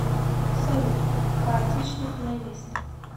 салют хаотичный плейлист